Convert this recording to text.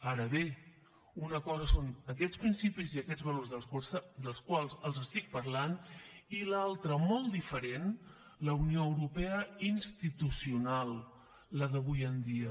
ara bé una cosa són aquests principis i aquests valors dels quals els estic parlant i l’altra molt diferent la unió europea institucional la d’avui en dia